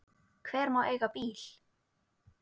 Hver má eiga bíl?